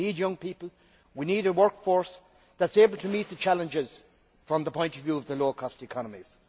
we need young people, we need a workforce that is able to meet the challenges from the low cost economies.